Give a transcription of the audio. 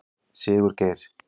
Sigurgeir